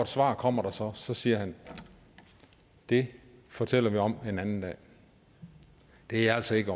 svar kommer der så så siger han det fortæller vi om en anden dag det er altså ikke